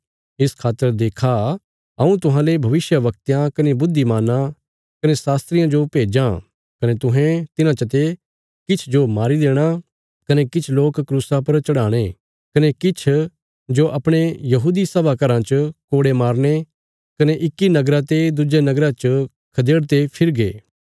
इस खातर देक्खा हऊँ तुहांले भविष्यवक्तयां कने बुद्धिमानां कने शास्त्रियां जो भेज्जां कने तुहें तिन्हां चते किछ जो मारी देणा कने किछ लोक क्रूसा पर चढ़ाणे कने किछ जो अपणे यहूदी सभा घराँ च कोड़े मारने कने इक्की नगरा ते दुज्जे नगरा च खदेड़दे फिरगे